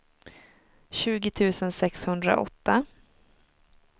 tjugo tusen sexhundraåtta